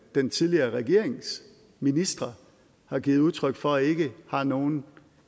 den tidligere regerings ministre har givet udtryk for ikke har nogen